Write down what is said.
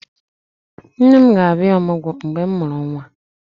Nne m ga-abịa ọmụgwọ mgbe mụ mụrụ nwa